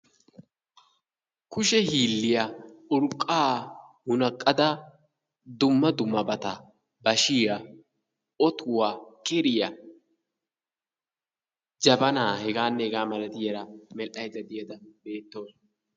Kushe hiilliya urqqa munaqqada dumma dumabata bashshiya, otuwaa, keriyaa, jabana heganne hega malatiyaabat medhdhaydda diyaara beettawusu.